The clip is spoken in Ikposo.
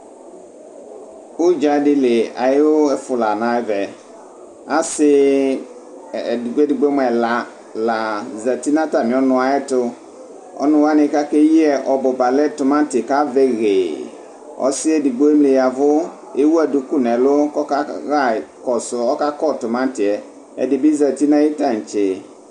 Ʋdzadi li ayʋ ɛfʋ lanʋ ɛvɛ asi edigbo edigbo mʋ ɛla la zati nʋ atami ɔnʋ yɛtʋ ɔnʋ wani kʋ ake yiyɛ ɔbʋba lɛ tumati kʋ avɛ heee asi yɛ edigbo emli ya ɛvʋ ewʋ adʋkʋ nʋ ɛlʋ kʋ ɔkakɔ tʋmati yɛ ɛdibi zati nʋ ayʋ tantse